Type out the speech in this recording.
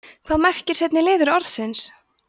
hvað merkir seinni liður orðsins